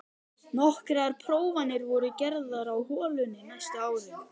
Nokkrar prófanir voru gerðar á holunni næstu árin.